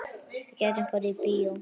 Við gætum farið í bíó.